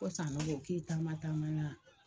Ko Sanogo k'i taama taama na?